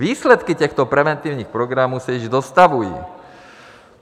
Výsledky těchto preventivních programů se již dostavují.